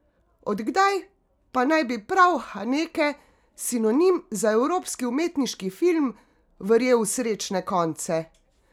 Od kdaj pa naj bi prav Haneke, sinonim za evropski umetniški film, verjel v srečne konce?